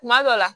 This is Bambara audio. Kuma dɔ la